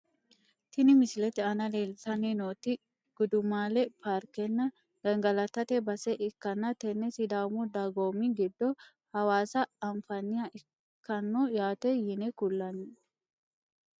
Tini misilete aana leeltani nooti gudumaale parkena gangalatate base ikanna tene sidaamu dagoomi giddo hawaassa anfaniha ikano yaate yine kulani.